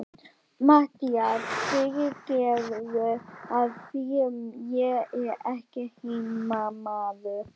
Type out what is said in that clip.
MATTHÍAS: Fyrirgefðu, af því ég er ekki heimamaður.